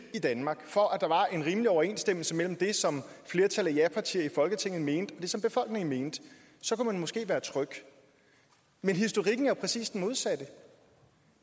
i danmark for at der var en rimelig overenstemmelse mellem det som flertallet af japartier i folketinget mente og det som befolkningen mente kunne man måske være tryg men historikken er jo præcis den modsatte